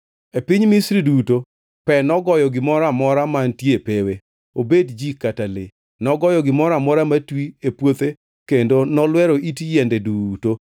E piny Misri duto pe nogoyo gimoro amora mantie e pewe; obed ji kata le. Nogoyo gimoro amora matwi e puothe kendo nolwero it yiende duto.